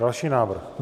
Další návrh.